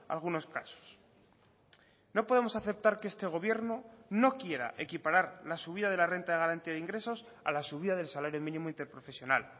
algunos casos no podemos aceptar que este gobierno no quiera equiparar la subida de la renta de garantía de ingresos a la subida del salario mínimo interprofesional